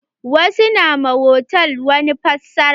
Wasu na ma hotal wani fassara.